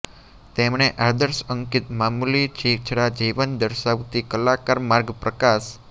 તેમણે આદર્શ અંકિત મામૂલી છીછરા જીવન દર્શાવતી કલાકાર માર્ગ પ્રકાશ